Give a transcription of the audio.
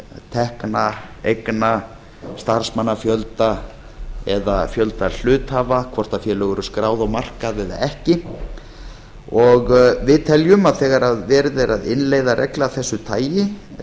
tekna eigna starfsmannafjölda eða fjölda hluthafa hvort félög voru skráð á markað eða ekki við teljum að þegar verið er að innleiða reglu af þessu tagi